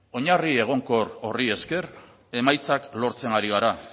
oinarri egonkor horri esker emaitzak lortzen ari gara